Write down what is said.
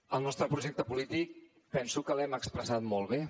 el nostre projecte polític penso que l’hem expressat molt bé